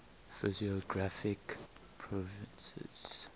physiographic provinces